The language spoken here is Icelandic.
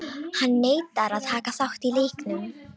Hann neitar að taka þátt í leiknum.